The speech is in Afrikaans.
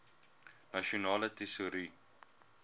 nasionale tesourie